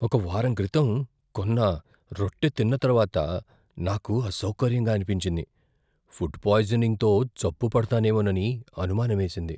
ఒక వారం క్రితం కొన్న రొట్టె తిన్న తర్వాత నాకు అసౌకర్యంగా అనిపించింది, ఫుడ్ పాయిజనింగ్తో జబ్బు పడతానేమోనని అనుమానమేసింది.